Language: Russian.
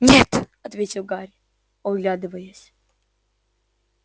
нет ответил гарри оглядываясь